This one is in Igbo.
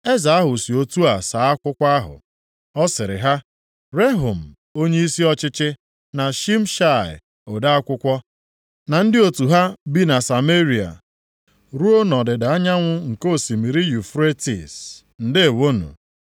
Eze ahụ si otu a saa akwụkwọ ahụ, Ọ sịrị ha, Rehum onyeisi ọchịchị, na Shimshai ode akwụkwọ, na ndị otu ha bi na Sameria ruo nʼọdịda anyanwụ nke osimiri Yufretis. Ndeewonụ.